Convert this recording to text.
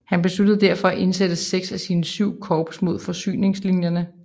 Han besluttede derfor at indsætte seks af sine syv korps mod forsyningslinjerne